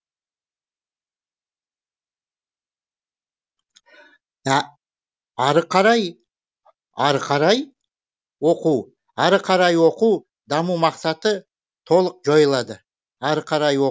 ары қарай ары қарай ары қарай оқу даму мақсаты толық жойылады